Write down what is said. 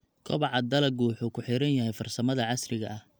Kobaca dalaggu wuxuu ku xiran yahay farsamada casriga ah.